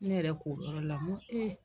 Ne yɛrɛ k'o yɔrɔ la ŋo